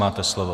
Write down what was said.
Máte slovo.